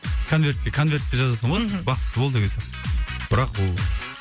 конвертке конвертке жазасың ғой мхм бақытты бол деген сияқты бірақ бұл